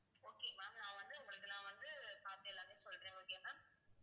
okay ma'am நான் வந்து உங்களுக்கு நான் வந்து பார்த்து எல்லாமே சொல்றேன் okay ma'am